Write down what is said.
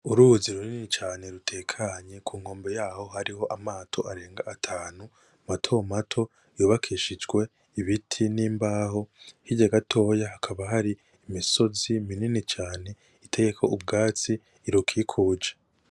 Uruzi runini cane rutekanye ku nkombe yaho hariho amato arenga atanu matomato yubakishijwe ibiti n'imbaho. Hirya gatoya hakaba hari imisozi minini cane iteyeko ubwatsi irukikuje.